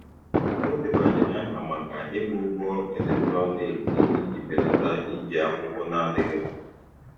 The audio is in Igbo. Ọ debanyere aha maka ịgba ụgwọ eletrọniki iji belata iji akwụkwọ na-adịghị mkpa.